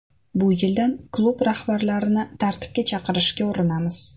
Bu yildan klub rahbarlarini tartibga chaqirishga urinamiz.